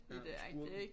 Ja skurken